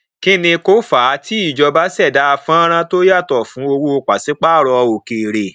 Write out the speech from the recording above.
kí ni kó fàá tí ìjọba ṣẹdá fọnrán tó yàtọ fún owó pàṣípààrọ òkèèrè